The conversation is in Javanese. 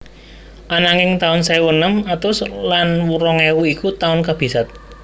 Ananging taun sewu enem atus lan rong ewu iku taun kabisat